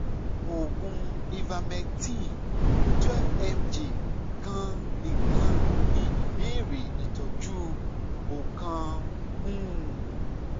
oògùn ivermectin twelve mg kan nikan ni ibẹrẹ itọju o kan um